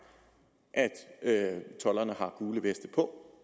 at tolderne har gule veste på